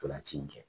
Ntolan ci in kɛ